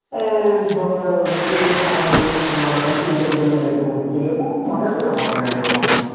ঐ ধর এর সময় হবে তো তার সময় হোল না তিন চার জন মিলে তো আর ঘুরতে যাওয়া যায় না বাঁধা থাকলে হয় না এক রকম,